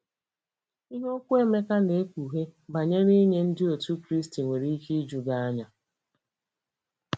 Ihe okwu Emeka na-ekpughe banyere inye Ndị Otù Kristi nwere ike iju gị anya.